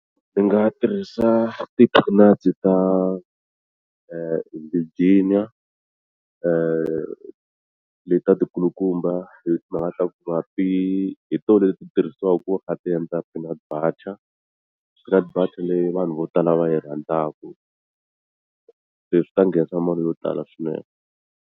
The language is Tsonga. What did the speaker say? Ndzi nga tirhisa ti-peanut ta Virginia letiya ti kulukumba hi timhaka ta ku va ti hi tona leti ti tirhisiwaka ku va ti kha ti endla peanut butter peanut butter leyi vanhu vo tala va yi rhandzaka se swi ta nghenisa mali yo tala swinene